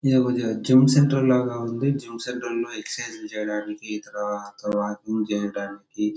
ఇదొక gym center లాగా ఉంది జిమ్ సెంటర్లో ఎక్సైజ్లు చేయడానికి తర్వాత వాకింగ్ చేయడానికి.